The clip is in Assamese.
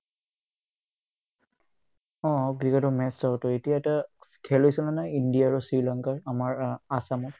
অ, ক্ৰিকেটৰ match হয়তো ইটো এটা খেলিছে নে নাই ইণ্ডিয়া আৰু শ্ৰীলংকাই আমাৰ আ আছামত